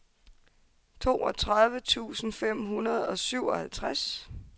toogtredive tusind fem hundrede og syvoghalvfjerds